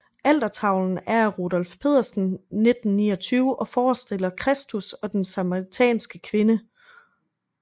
Altertavlen er af Rudolf Pedersen 1929 og forestiller Kristus og den samaritanske kvinde